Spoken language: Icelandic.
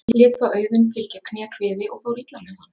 Lét þá Auðunn fylgja kné kviði og fór illa með hann.